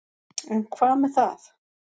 En hvað með það.